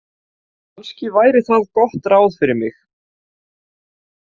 Kannski væri það gott ráð fyrir mig.